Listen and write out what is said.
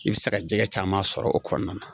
I bɛ se ka jɛgɛ caman sɔrɔ o kɔnɔna na